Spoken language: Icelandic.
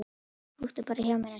Húkti bara hjá mér eins og klessa.